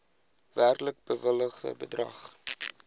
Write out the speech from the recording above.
werklik bewilligde bedrag